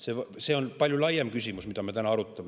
See on palju laiem küsimus, mida me täna arutame.